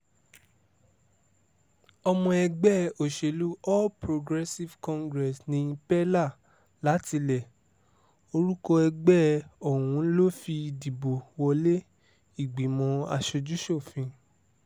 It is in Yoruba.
ọmọ ẹgbẹ́ òsèlú all progressives congress ní peller látilẹ̀ orúkọ ẹgbẹ́ ọ̀hún ló fi dìbò wọlé ìgbìmọ̀ asojú-ṣòfin